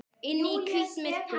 Inn í hvítt myrkur.